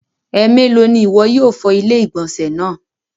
Ẹmẹlo ni iwọ yóò fọ̀ ilẹ̀-igbọnsẹ̀ naa?